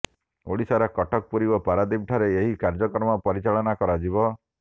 ଓଡିଶାର କଟକ ପୁରୀ ଓ ପାରାଦୀପଠାରେ ଏହି କାର୍ଯ୍ୟକ୍ରମ ପରିଚାଳନା କରାଯିବ